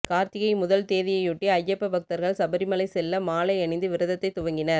கார்த்திகை முதல் தேதியையொட்டி ஐயப்ப பக்தர்கள் சபரி மலை செல்ல மாலை அணிந்து விரதத்தை துவங்கினர்